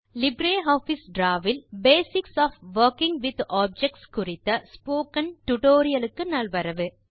LibreOffice Draw வில் basics of working with objects குறித்த spoken டுடோரியலுக்கு நல்வரவு